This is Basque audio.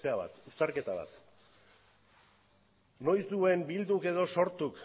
uztarketa bat noiz duen bilduk edo sortuk